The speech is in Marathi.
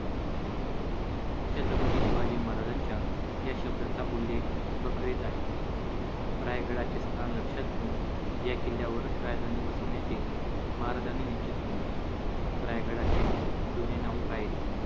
छत्रपती शिवाजी महाराजांच्या या शब्दाचा उल्लेख बखरीत आहे. रायगडाचे स्थान लक्षात घेऊन या किल्ल्यावरच राजधानी बसवण्याचे महाराजांनी निश्चित केले. रायगडाचे जुने नाव रायरी.